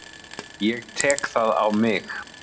Ég tek það á mig.